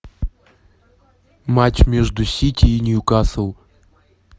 матч между сити и ньюкасл